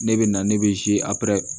Ne bɛ na ne bɛ aper